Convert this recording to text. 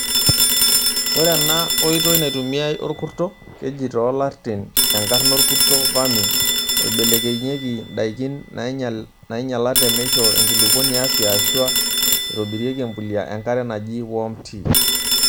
Ore ena oitoi naitumiae orkurto (keji too lartin enkarna orkurto,'vermi') oibelekeyieki ndaikin nainyialate meishoo enkulupuoni afia ashua eitobirieki empulia enkare najii 'worm tea'